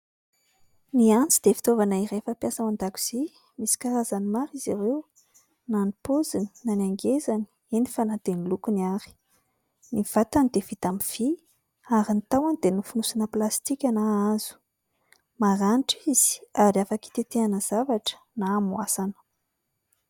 Ny antsy dia fitaovana iray fampiasa ao an-dakozia. Misy karazany maro izy ireo, na ny paoziny na ny hangezany eny fa na dia ny lokony ary. Ny vatany dia vita amin'ny vy ary ny tahony dia nofonosina plastika na hazo. Maranitra izy ary afaka hitetehana zavatra na hamoasana.